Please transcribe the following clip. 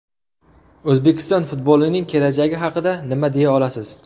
O‘zbekiston futbolining kelajagi haqida nima deya olasiz?